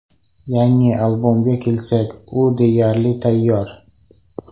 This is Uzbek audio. Yangi albomga kelsak, u deyarli tayyor.